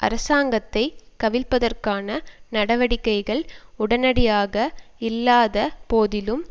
அரசாங்கத்தை கவிழ்ப்பதற்கான நடவடிக்கைகள் உடனடியாக இல்லாத போதிலும்